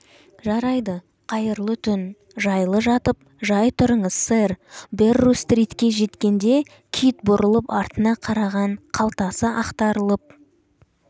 жарайды қайырлы түн жайлы жатып жай тұрыңыз сэр берру-стритке жеткенде кит бұрылып артына қараған қалтасы ақтарылып